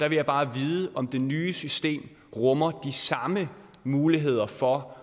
vil jeg bare vide om det nye system rummer de samme muligheder for